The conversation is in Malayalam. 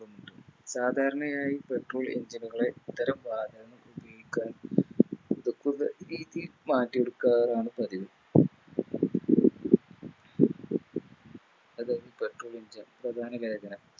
ളുമുണ്ട് സാധാരണയായി Petrol engine നുകളെ ഇത്തരം വാതകം ഉപയോഗിക്കാൻ മാറ്റിയെടുക്കാറാണ് പതിവ് അതായത് Petrol engine പ്രധാന വേഗത